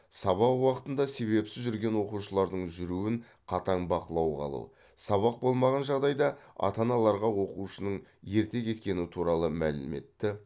сабақ уақытында себепсіз жүрген оқушылардың жүруін қатаң бақылауға алу сабақ болмаған жағдайда ата аналарға оқушының ерте кеткені туралы мәліметті